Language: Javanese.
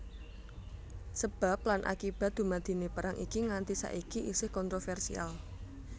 Sebab lan akibat dumadiné perang iki nganti saiki isih kontrovèrsial